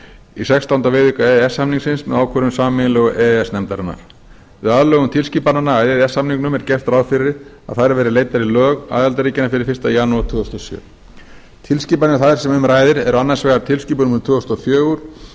í sextánda viðauka e e s samningsins með ákvörðun sameiginlegu e e s nefndarinnar við aðlögun tilskipananna að e e s samningnum er gert ráð fyrir að þær verði leiddar í lög aðildarríkjanna fyrir fyrsta janúar tvö þúsund og sjö tilskipanir þær sem um ræðir eru annars vegar tilskipun númer tvö þúsund og fjögur